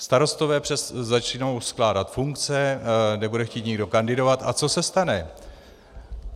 Starostové začnou skládat funkce, nebude chtít nikdo kandidovat a co se stane?